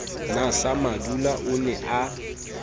na samadula o ne a